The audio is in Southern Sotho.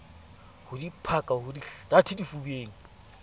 ho diphaka ho dihlathe difubeng